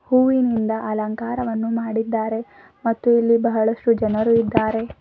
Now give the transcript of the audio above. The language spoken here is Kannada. ಹೂವಿನಿಂದ ಅಲಂಕಾರವನ್ನು ಮಾಡಿದ್ದಾರೆ ಮತ್ತು ಇಲ್ಲಿ ಬಹಳಷ್ಟು ಜನರು ಇದ್ದಾರೆ.